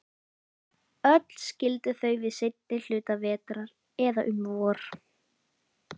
Öll skildu þau við seinni hluta vetrar, eða um vor.